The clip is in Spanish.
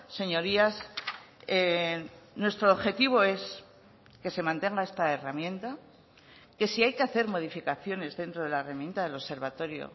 señorías nuestro objetivo es que se mantenga esta herramienta que si hay que hacer modificaciones dentro de la herramienta del observatorio